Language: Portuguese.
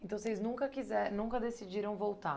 Então, vocês nunca quise nunca decidiram voltar?